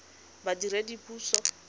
badiredipuso